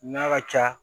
N'a ka ca